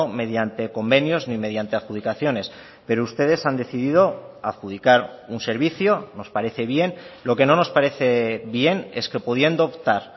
mediante convenios ni mediante adjudicaciones pero ustedes han decidido adjudicar un servicio nos parece bien lo que no nos parece bien es que pudiendo optar